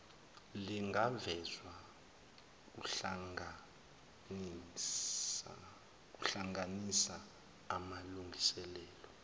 lingavezwa kuhlanganisa amalungiselelo